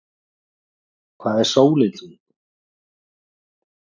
hvað er sólin þung